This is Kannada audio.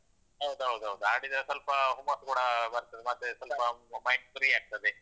ಹೌದೌದೌದು. ಆಡಿದ್ರೆ ಸ್ವಲ್ಪ ಹುಮ್ಮಸ್ಸು ಕೂಡ ಬರ್ತದೆ ಮತ್ತೆ ಸ್ವಲ್ಪ mind free ಆಗ್ತದೆ.